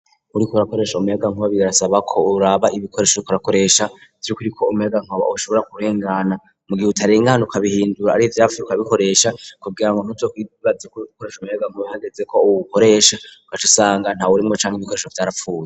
Uriko urakoresha umuyagankuba birasaba ko uraba ibikoresho uriko urakoresha vy'ukuri ko umuyagankuba ushobora kurengana, mu gihe utarengana uka bihindura, ari ivyapfuye ukabikoresha kugira ngo ntuzokwibaze ko uriko ukoresha umuyagankuba hageze ko uwukoresha ugaca usanga ntawurimwo canke ibikoresho vyarapfuye.